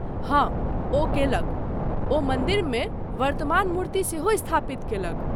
हँ, ओ कयलक, ओ मन्दिरमे वर्तमान मूर्ति सेहो स्थापित कयलक।